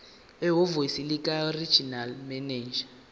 ehhovisi likaregional manager